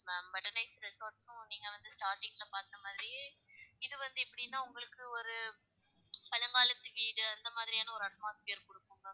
Ma'am resorts சு நீங்க வந்து starting ல பாத்த மாதிரியே இது வந்து எப்படின்னா உங்களுக்கு ஒரு பழங்காலத்து வீடு அந்த மாதிரியான ஒரு atmosphere இருக்கும் ma'am.